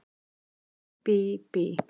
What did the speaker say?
Bí bí bí!